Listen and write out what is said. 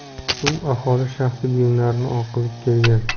Suv aholining shaxsiy buyumlarini oqizib kelgan.